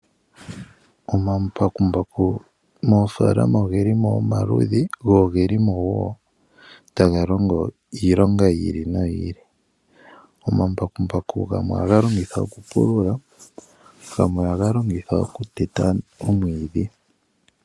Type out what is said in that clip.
Omambakumbaku moofaalamo ogeli Mo omaludhi ogendji. Ongeli mo woo taga longo iilonga yili no yili. Oomambakumbaku gamwe ohaga longithwa okupulula gamwe ohaga longithwa kuteta omwiidhi.